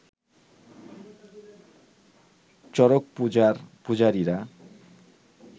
চড়ক-পূজার পূজারীরা